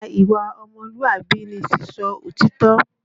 Lára ìwà ọmọlúàbí ni sísọ òtítọ́